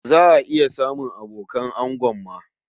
Za a iya samun abokan ango ma.